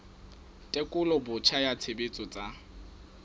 tekolo botjha ya tshebetso tsa